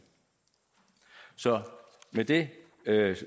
så med det